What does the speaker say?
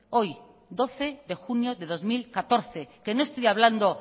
hoy doce de junio de dos mil catorce que no estoy hablando